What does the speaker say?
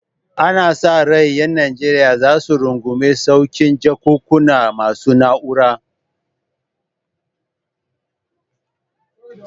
Ana sa ran ƴan Najeriya za su rungumi saukin jakunkuna masu na'ura